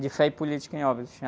De Fé e Política em Óbidos.